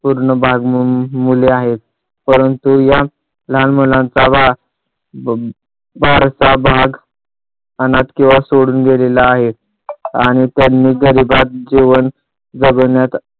पूर्ण भाग मुले आहेत. परंतू या लहान मुलांचा भाग फारसा भाग अनाथ किंवा सोडून दिलेला आहे आणि त्यांनी गरीबात जीवन जगण्यात